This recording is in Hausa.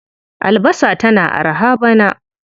Albasa tana araha bana.